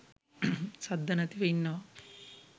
සද්ද නැතිව ඉන්නවා.